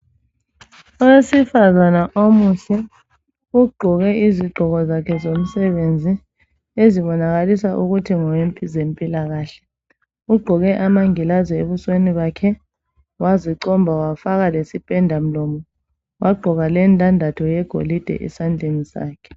Owesifazane omuhle ugqoke izigqoko zakhe zomsebenzi ezibonakalisa ukuthi ngokwempilo kahle ugqoke amangilazi ebusweni bakhe wazicomba wafaka lesipenda mlomo wagqoka lendandatho yegolide esandleni sakhe